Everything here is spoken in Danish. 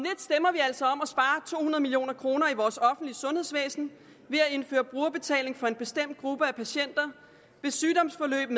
at million kroner i vores offentlige sundhedsvæsen ved at indføre brugerbetaling for en bestemt gruppe af patienter hvis sygdomsforløb